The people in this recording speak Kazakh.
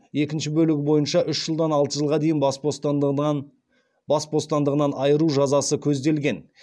екінші бөлігі бойынша үш жылдан алты жылға дейін бас бостандығынан айыру жазасы көзделген